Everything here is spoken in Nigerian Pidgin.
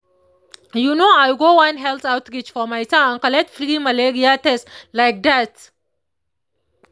you know i go one health outreach for my town and collect free malaria test like that